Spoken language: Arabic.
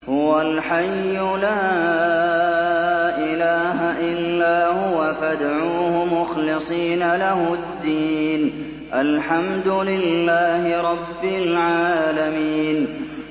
هُوَ الْحَيُّ لَا إِلَٰهَ إِلَّا هُوَ فَادْعُوهُ مُخْلِصِينَ لَهُ الدِّينَ ۗ الْحَمْدُ لِلَّهِ رَبِّ الْعَالَمِينَ